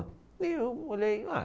E eu olhei ah.